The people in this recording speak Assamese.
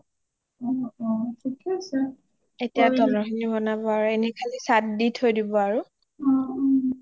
এতিয়া তলৰ খিনি বনাব এনে চাত দি ঠই দিব আৰু